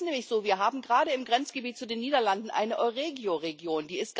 Es ist nämlich so Wir haben gerade im Grenzgebiet zu den Niederlanden eine Euregio Region.